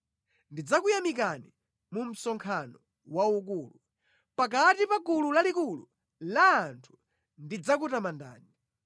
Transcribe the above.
Ndidzakuyamikani mu msonkhano waukulu; pakati pa gulu lalikulu la anthu ndidzakutamandani.